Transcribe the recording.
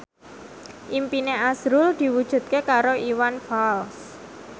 impine azrul diwujudke karo Iwan Fals